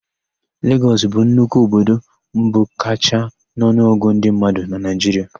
Legọs bụ nnukwu obodo mbụ kachaa n'ọnụọgụ ndị mmadụ na Naịjiria.